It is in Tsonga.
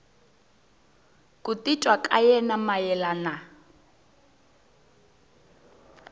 ku titwa ka yena mayelana